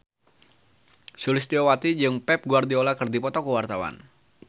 Sulistyowati jeung Pep Guardiola keur dipoto ku wartawan